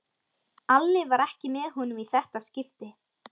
Alli var ekki með honum í þetta skipti.